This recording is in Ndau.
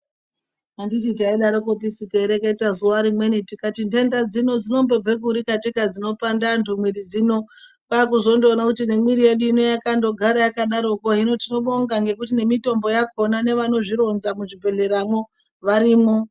Anditi taidarosu taireketa zuwa rimweni tikati nhenda dzino dzinombobve kuri dzinopanda antu mwiri dzino kwakuzondoona kuti nemwiri ino yakandogara yakadarokwo. Hino tinobonga ngekuti nemitombo yakhona nevanozvironza muzvibhedhleramwo varimwo.